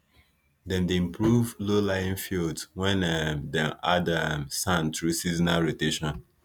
dem dey improve lowlying fields when um dem add um sand through seasonal rotation